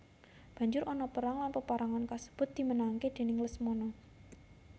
Banjur ana perang lan paperangan kasebut dimenangake déning Lesmana